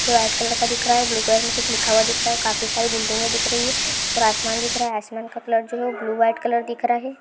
White colour का दिख रहा है ब्लू कलर में कुछ लिखा हुआ दिख रहा है और काफी सारी बिल्डिंग दिख रही है और आसमान दिख रहा है आसमान का कलर जो है ब्लू वाईट कलर दिख रहा है।